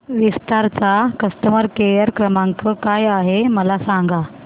विस्तार चा customer care क्रमांक काय आहे मला सांगा